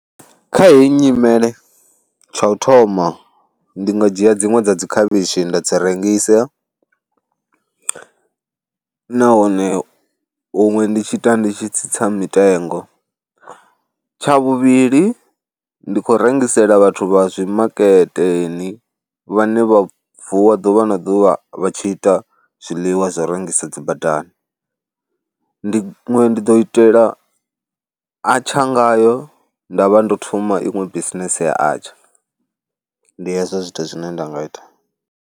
Kha heyi nyimele tsha u thoma ndi nga dzhia dziṅwe dza dzi khavhishi nda dzi rengisa nahone huṅwe ndi tshi ita ndi tshi tsitsa mitengo. Tsha vhuvhili ndi khou rengisela vhathu vha zwi maketeni vhane vha vuwa ḓuvha na ḓuvha vha tshi ita zwiḽiwa zwa u rengisa dzi badani, ndi iṅwe ndi ḓo itela atsha ngayo, nda vha ndo thoma iṅwe bisinese ya atsha. Ndi hezwo zwithu zwine nda nga ita.